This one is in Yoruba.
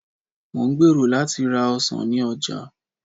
mo n gbero lati ra ọsàn ni oja